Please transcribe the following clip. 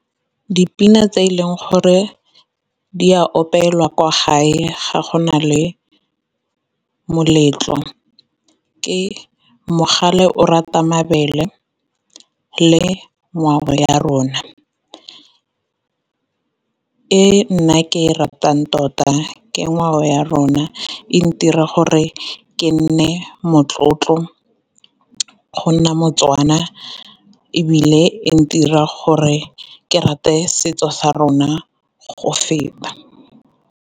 Dipina tse e leng gore di a opelwa kwa gae ga go na le moletlo, ke mogale o rata mabele le ngwao ya rona. E nna ke e ratang tota ke ngwao ya rona e ntira gore ke nne motlotlo go nna moTswana, ebile e ntirang gore ke rate setso sa rona go feta.